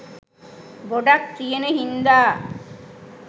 ගොඩක් තියෙන හිංදා